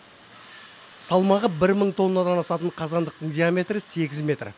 салмағы бір мың тоннадан асатын қазандықтың диаметрі сегіз метр